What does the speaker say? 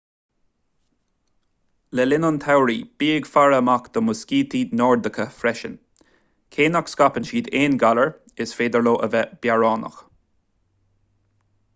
le linn an tsamhraidh bí ag faire amach do mhuiscítí nordacha freisin cé nach scaipeann siad aon ghalair is féidir leo a bheith bearránach